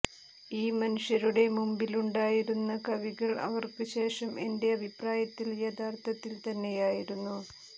ഈ മനുഷ്യരുടെ മുമ്പിലുണ്ടായിരുന്ന കവികൾ അവർക്ക് ശേഷം എന്റെ അഭിപ്രായത്തിൽ യഥാർഥത്തിൽ തന്നെയായിരുന്നു